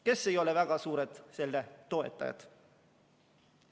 Kes ei ole väga suured toetajad?